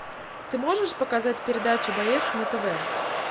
ты можешь показать передачу боец на тв